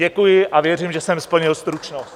Děkuji a věřím, že jsem splnil stručnost.